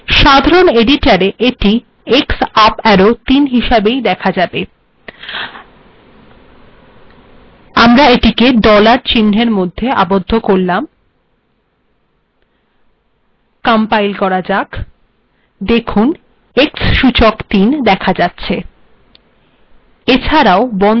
সাধারণ এডিটরে এটি x আপ arrow ৩ হিসাবে দেহ যাবে আমরা এটি ডলার চিহ্নের মধ্যে আবদ্ধ করলাম কম্পাইল্ করা যাক দেখুন x সূচক ৩ দেখা যাচ্ছে